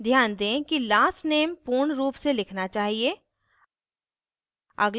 ध्यान दें कि last नेम पूर्ण रूप में लिखना चाहिए